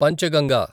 Panchganga